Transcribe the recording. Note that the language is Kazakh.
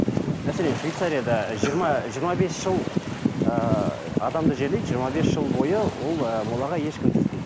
мәселен швецарияда жиырма жиырма бес жыл ыыы адамды жерлейді жиырма бес жыл бойы ол ы молаға ешкім тиіспейді